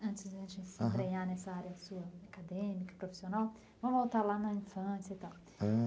Antes de a gente se nessa área sua acadêmica, profissional, vamos voltar lá na infância e tal, aham.